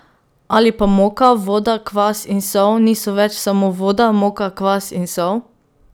Ali pa moka, voda, kvas in sol niso več samo voda, moka, kvas in sol?